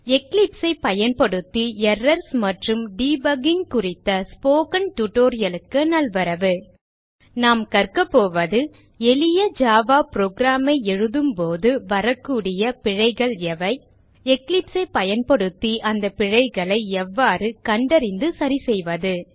Eclipse ஐ பயன்படுத்தி errors மற்றும் டிபக்கிங் குறித்த ஸ்போக்கன் tutorial க்கு நல்வரவு நாம் கற்க போவது எளிய ஜாவா Program ஐ எழுதும் போது வரக்கூடிய பிழைகள் எவை eclipse ஐ பயன்படுத்தி அந்த பிழைகளை எவ்வாறு கண்டறிந்து சரிசெய்வது